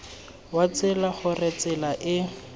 wa tsela gore tsela e